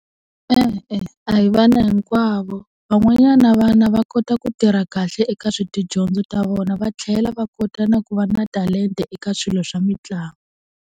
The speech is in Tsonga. E-e, a hi vana hinkwavo van'wanyana vana va kota ku tirha kahle eka swa tidyondzo ta vona va tlhela va kota na ku va na talenta eka swilo swa mitlangu.